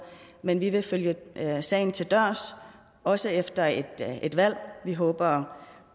men vi vil følge sagen til dørs også efter et valg vi håber